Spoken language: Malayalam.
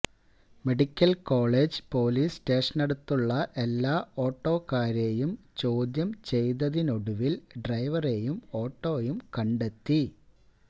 മെഡിക്കല് കോളേജ് പോലീസ് സ്റ്റേഷനടുത്തുള്ള എല്ലാ ഓട്ടോക്കാരെയും ചോദ്യം ചെയ്തതിനൊടുവില് ഡ്രൈവറെയും ഓട്ടോയും കണ്ടെത്തി